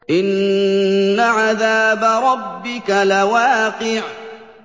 إِنَّ عَذَابَ رَبِّكَ لَوَاقِعٌ